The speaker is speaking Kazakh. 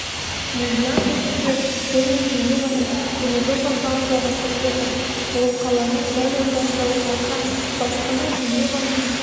мон-блан көшесі көл мен женеваның теміржол вокзалын жалғастырып жатыр ол қаланың дәл ортасында орналасқан баспана женеваның